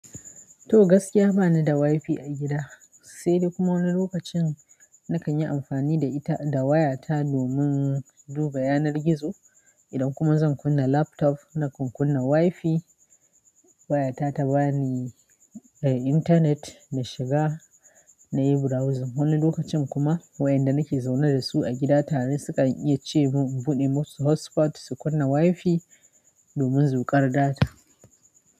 To gaskiya bani da wifi a gida sai dai kuma wani lokacin na kan yi amfani da ita, da wayata domin duba yanar gizo. Idan kuma zan kunna laptop na kan kunna wifi wayata ta bani, eh, internet na shiga na yi browsing. Wani lokacin kuma wayanda nake zaune da su a gida tare su kan iya ce mun in buɗe musu hotspot su kunna wifi domin zuƙar data.